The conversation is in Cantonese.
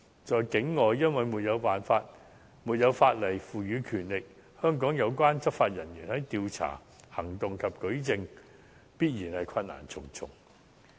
在境外，因為沒有法例賦予權力，香港有關執法人員在調查、行動及舉證方面，必然困難重重。